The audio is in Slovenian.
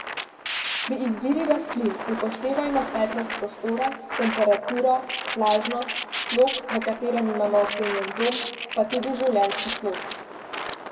Pri izbiri rastlin upoštevajmo svetlost prostora, temperaturo, vlažnost, slog, v katerem imamo opremljen dom, pa tudi življenjski slog.